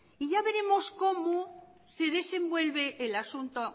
y ya veremos cómo se desenvuelve el asunto